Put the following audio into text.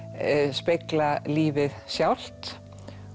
spegla lífið sjálft